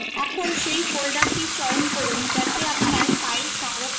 এখন সেই folder চয়ন করুন যেখানে আপনার file সংরক্ষণ করতে চান